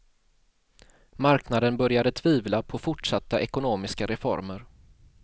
Marknaden började tvivla på fortsatta ekonomiska reformer.